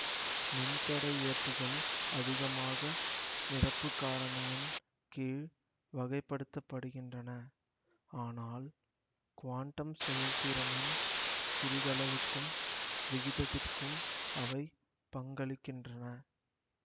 மின் தடை இழப்புகள் அதிகமாக நிரப்பு காரணியின் கீழ் வகை படுத்த படுகின்றன ஆனால் குவாண்டம் செயல்திறனின் சிறிதளவுக்கும் விகிதத்திற்கும் அவை பங்களிக்கின்றன